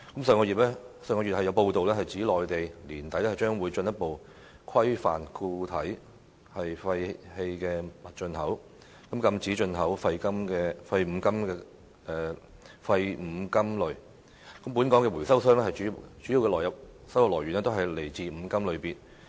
上月有報道指，內地於年底將進一步規範固體廢棄物進口，禁止進口廢五金類，但本港回收商的主要收入來源來自五金類別。